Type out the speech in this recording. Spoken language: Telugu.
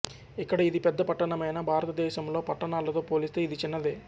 ఇక్కడ ఇది పెద్ద పట్టణమైనా భారతదేశంలో పట్టణాలతో పోలిస్తే ఇది చిన్నదే